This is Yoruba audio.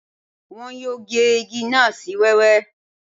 Wọn yóò gé igi náà sí wẹ́wẹ́